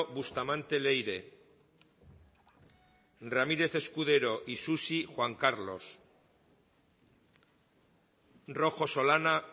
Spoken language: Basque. bustamante leire ramírez escudero isusi juan carlos rojo solana